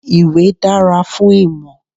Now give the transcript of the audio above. Ìwé dára fún ìmọ̀.